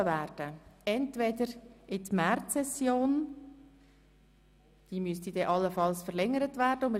Entweder werden diese in die Märzsession verschoben, welche dann allenfalls verlängert werden müsste.